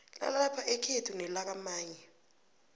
lalapha ekhethu nelakamanye